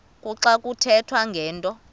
kuxa kuthethwa ngento